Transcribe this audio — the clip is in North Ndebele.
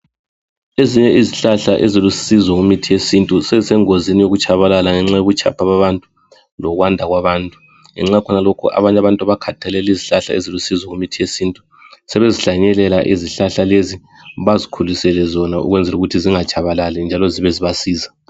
Ezinye izihlahla ezilusizo kumithi yesintu sezisengozini yokutshabalala ngenxa yobutshapha babantu lokwanda kwabantu, ngenxa yakhonalokhu abanye abantu abakhathalela izihlahla ezilusizo kumithi yesintu sebezihlanyelela izihlahla lezi ukwenzela ukuthi zingatshabalali njalo zibe zibasiza.